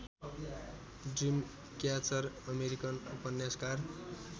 Dreamcatcher American उपन्यासकार